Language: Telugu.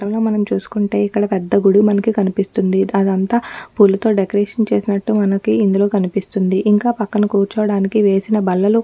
ఈ చిత్రంలో మనం చూసుకుంటే ఇక్కడ పెద్ద గుడి మనకి కనిపిస్తుంది. అదంతా పూలతో డెకరేషన్ చేసినట్టు మనకి ఇందులో కనిపిస్తుంది. ఇంకా పక్కన కూర్చోడానికి వేసిన బల్లలు--